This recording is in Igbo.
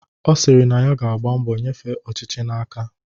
Ọ sịrị na ya ga-agba mbọ nyefee ọchịchị n'aka